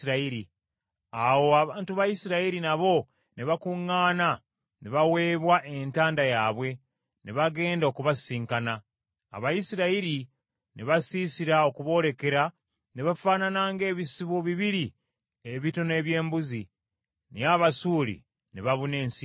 Awo abantu ba Isirayiri nabo ne bakuŋŋaana ne baweebwa entanda yaabwe, ne bagenda okubasisinkana. Abayisirayiri ne basiisira okuboolekera ne bafaanana ng’ebisibo bibiri ebitono eby’embuzi, naye Abasuuli ne babuna ensi yonna.